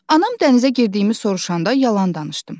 Anam dənizə girdiyimi soruşanda yalan danışdım.